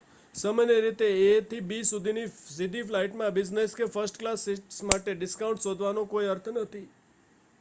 સામાન્ય રીતે એ થી બી સુધીની સીધી ફ્લાઇટમાં બિઝનેસ કે ફર્સ્ટ ક્લાસ સીટસ માટે ડિસ્કાઉન્ટ શોધવાનો કોઈ અર્થ નથી